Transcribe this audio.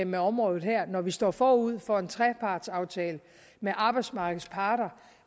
med området her når vi står forud for en trepartsaftale med arbejdsmarkedets parter